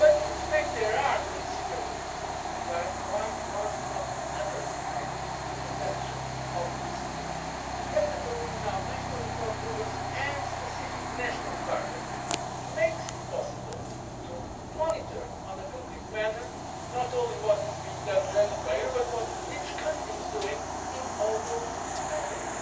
In fact, there are considerable improvements, and I would like to ask you not to underestimate the potential of these improvements. The fact that there will now be national reform programmes and specific national targets makes it possible to monitor, in a concrete manner, not only what is being done generally by Europe but what each country is doing in all those matters.